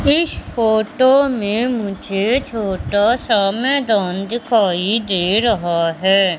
इस फोटो में मुझे छोटा सा मैदान दिखाई दे रहा है।